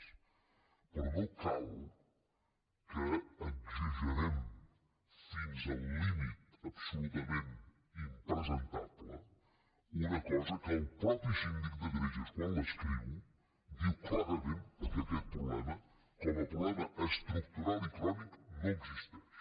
però no cal que exagerem fins al límit absolutament impresentable una cosa que el mateix síndic de greuges quan l’escriu diu clarament que aquest problema de desnutrició com a problema estructural i crònic no existeix